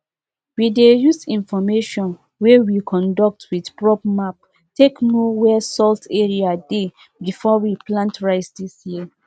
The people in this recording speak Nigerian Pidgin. we dey use information wey we conduct with probe map take know where salt area dey before we plant rice dis year